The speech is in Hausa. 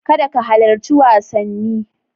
Kada ka halarci wasanni.